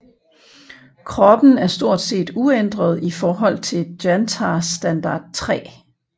Kroppen er stort set uændret i forhold til Jantar Standard 3